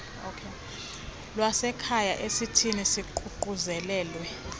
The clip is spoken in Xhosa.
lwasekhaya ezithi ziququzelelwe